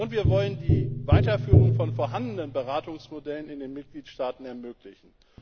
Wir wollen die Weiterführung von vorhandenen Beratungsmodellen in den Mitgliedstaaten ermöglichen.